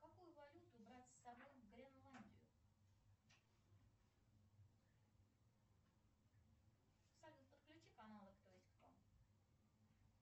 какую валюту брать с собой в гренландию салют подключи каналы кто есть кто